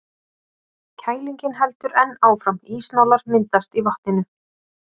Kælingin heldur enn áfram, ísnálar myndast í vatninu.